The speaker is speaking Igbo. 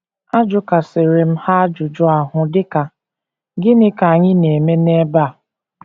Ajụkasịrị m ha ajụjụ ahụ, dị ka, ‘ Gịnị ka anyị na - eme n’ebe a?